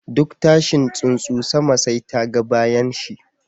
Duk tashin tsunsu, sama sai ta ga bayanshi.